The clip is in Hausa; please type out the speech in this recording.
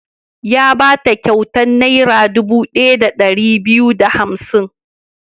Ya ba ta kyautar Naira dubu ɗaya da ɗari biyu da hamsin.